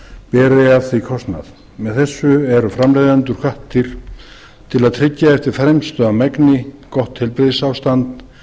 heilbrigðisaðstöðu beri af því kostnað með þessu eru framleiðendur hvattir til að tryggja eftir fremsta megni gott heilbrigðisástand